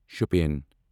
Shopian